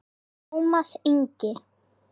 Tómas Ingi.